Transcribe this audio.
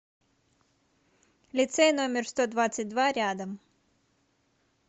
лицей номер сто двадцать два рядом